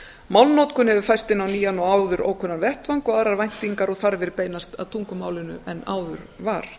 málnotkun hefur færst inn á nýjan og áður ókunnan vettvang og aðrar væntingar og þarfir beinast að tungumálinu en áður var